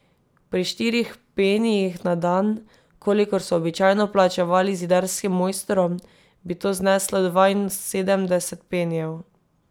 Pri štirih penijih na dan, kolikor so običajno plačevali zidarskim mojstrom, bi to zneslo dvainsedemdeset penijev.